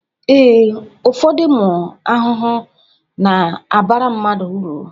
ee, ụfọdụ ụmụ ahụhụ na-abara mmadụ uru